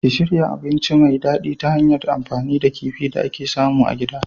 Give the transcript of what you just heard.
Ki shirya abinci mai dadi ta hanyar amfani da kifi da ake samu a gida.